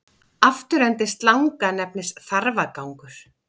Afturendi slanga nefnist þarfagangur.